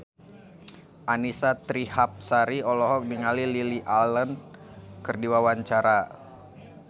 Annisa Trihapsari olohok ningali Lily Allen keur diwawancara